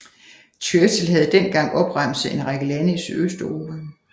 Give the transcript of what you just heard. Churchill havde dengang opremset en række lande i Sydøsteuropa